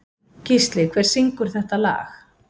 Gísli, hver syngur þetta lag?